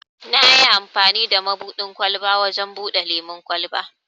Nayi amfani da mabuɗin ƙwalba wajen buɗe lemun kwalba.